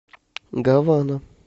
гавана